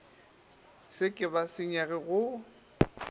se ke ba senyega go